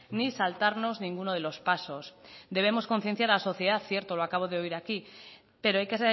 ni saltarnos ninguno de los pasos debemos concienciar a la sociedad cierto lo acabo de oír aquí pero hay que